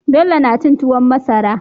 Bello na cin tuwon masara